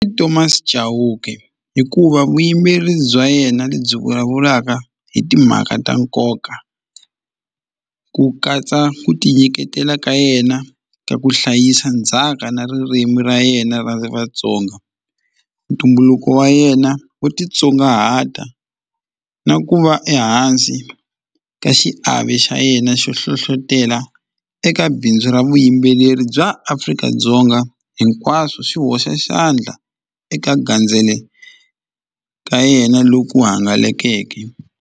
I Thomas Chauke hikuva vuyimeri bya yena lebyi vulavulaka hi timhaka ta nkoka ku katsa ku tinyiketela ka yena ka ku hlayisa ndzhaka na ririmi ra yena ra Vatsonga ntumbuluko wa yena wo titsongahata na ku va ehansi ka xiave xa yena xo hlohlotela eka bindzu ra vuyimbeleri bya Afrika-Dzonga hinkwaswo swi hoxa xandla eka gandzele ka yena loku hangalakeke.